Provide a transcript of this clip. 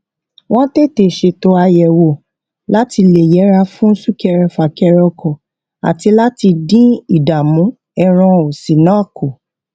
wón tètè ṣètò àyẹwò láti lè yẹra fún súkẹrẹfà kẹrẹkọ àti láti dín ìdààmú ẹran òsìn náà kù